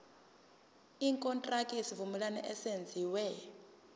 ikontraki yesivumelwano eyenziwe